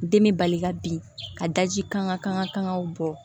Den be bali ka bin ka daji kanw bɔ